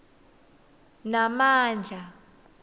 namandla